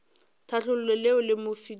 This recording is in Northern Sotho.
tlhahlo leo le mo filego